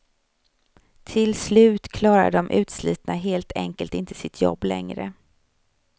Till slut klarar de utslitna helt enkelt inte sitt jobb längre.